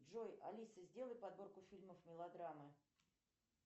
джой алиса сделай подборку фильмов мелодрамы